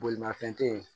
Bolimafɛn te yen